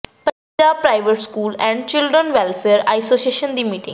Punjab private school and children welfare association ਦੀ meeting